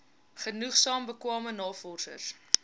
genoegsaam bekwame navorsers